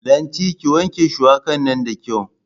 Lanti, ki wanke shuwaka nan da kyau.